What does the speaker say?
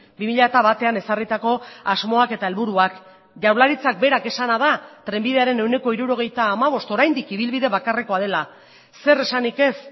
bi mila batean ezarritako asmoak eta helburuak jaurlaritzak berak esana da trenbidearen ehuneko hirurogeita hamabost oraindik ibilbide bakarrekoa dela zer esanik ez